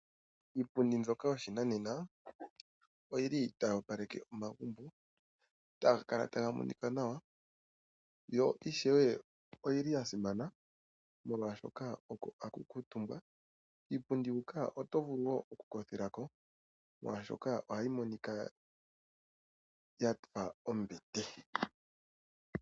Iipundi yoshinanena otayi opaleke omagumbo taga kala taga monika nawa yo oyili yasimana, molwaashoka oko hakukutumbwa. Kiimbundi huka otovulu woo okukothelako molwaashoka oyafa ombete.